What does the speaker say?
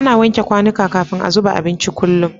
Ana wanke kwanika kafin a zuba abinci kullum